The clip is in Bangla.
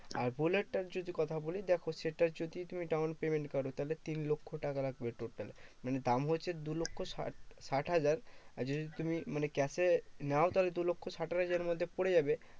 আর বুলেটটার যদি কথা বলি, দেখো সেটা যদি তুমি down payment করো, তাহলে তিন লক্ষ্য টাকা লাগবে total. মানে দাম হচ্ছে দু লক্ষ্য ষাট ষাট হাজার আর যদি তুমি মানে cash এ নাও তাহলে দু লক্ষ্য ষাট হাজারের মধ্যে পরে যাবে।